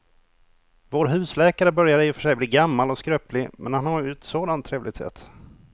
Vår husläkare börjar i och för sig bli gammal och skröplig, men han har ju ett sådant trevligt sätt!